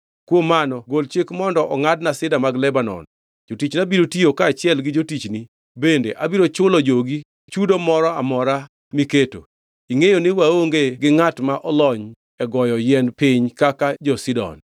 “Kuom mano gol chik mondo ongʼadna Sida mag Lebanon. Jotichna biro tiyo kaachiel gi jotichni, bende abiro chulo jogi chudo moro amora miketo. Ingʼeyo ni waonge gi ngʼat ma olony e goyo yien piny kaka jo-Sidon.”